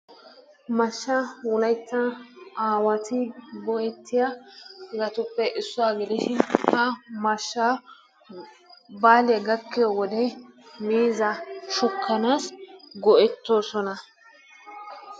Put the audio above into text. Mashshaa wolaytta aawati go'ettiyabatuppe issuwa gidishin ha mashshaa baalee gakkiyo wode miizzaa shukkanaassi go'ettoosona.